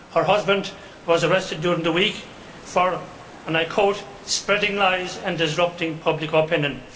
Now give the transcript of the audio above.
Her husband was arrested during the week for and I quote spreading lies and disrupting public opinion'.